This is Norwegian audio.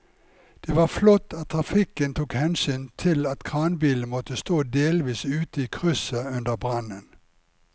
Det var flott at trafikken tok hensyn til at kranbilen måtte stå delvis ute i krysset under brannen.